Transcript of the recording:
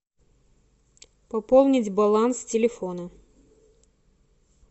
пополнить баланс телефона